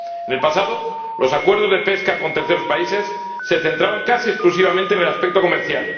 En el pasado los acuerdos de pesca con terceros países se centraban casi exclusivamente en el aspecto comercial